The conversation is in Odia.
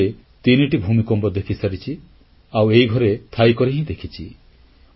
ମୁଁ ନିଜେ ତିନିଟି ଭୂମିକମ୍ପ ଦେଖିସାରିଛି ଆଉ ଏଇଘରେ ଥାଇକରି ହିଁ ଦେଖିଛି